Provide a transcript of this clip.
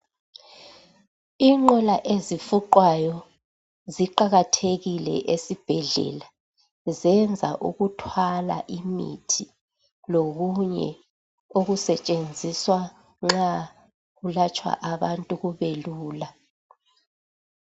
Inqola ezifuqwayo ziqakathekile esibhedlela. Zenza ukuthwala imithi lokunye okusetshenziswa nxa kulatshwa abantu kube lula.